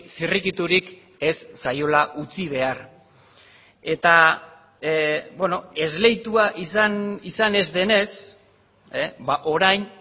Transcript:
zirrikiturik ez zaiola utzi behar eta esleitua izan ez denez orain